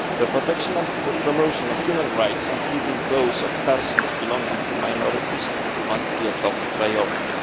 The protection and promotion of human rights, including those of persons belonging to minorities, must be a top priority.